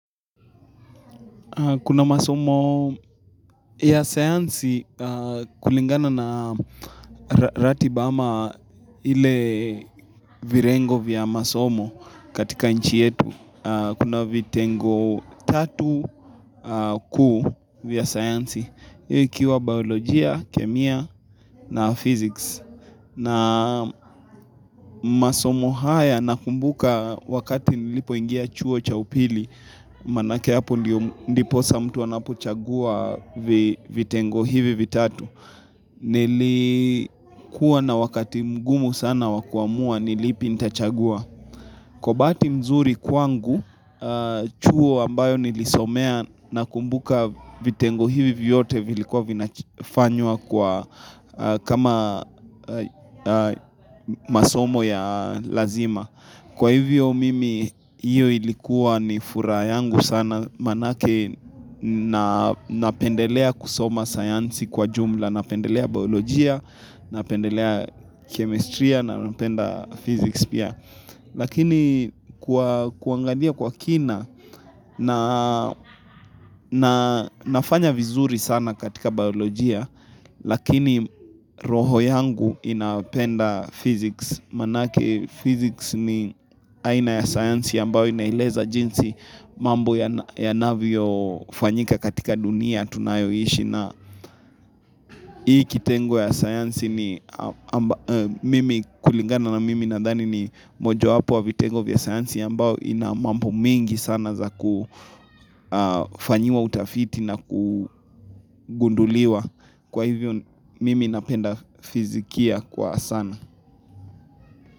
Kuna masomo ya sayansi kulingana na ratiba amaa vile vitengo vya masomo katika nchi yetu. Kuna vitengo vitatu vikuu vya sayansi ikiwa biolojia, kemia na physics. Na masomo haya nakumbuka wakati nilipo ingia chuo cha upili. Manake hapo ndipo saa mtu anapo chagua vitengo hivi vitatu Nilikuwa na wakati mgumu sana wakuamua nilipi nita chagua Kwa bahati mzuri kwangu chuo ambayo nilisomea na kumbuka vitengo hivi vyote vilikuwa vinafanywa kama masomo ya lazima Kwa hivyo mimi, hiyo ilikuwa ni furaha yangu sana, manake napendelea kusoma sayansi kwa jumla, napendelea biolojia, napendelea kemestria, napenda physics pia. Lakini kuangalia kwa kina Naa na nafanya vizuri sana katika baolojia Lakini roho yangu inapenda physics Manake physics ni aina ya sayansi ambavyo imeeleza jinsi mambo ya nalivyo fanyika katika dunia tunayoishi na hii kitengo ya sayansi ni mimi kulingana na mimi nadhani ni mojo wapo ya vitengo vya sayansi ambavyo inamambo mingi sana za kufanyiwa utafiti na kugunduliwa kwa hivyo mimi napenda fizikia kwa sana.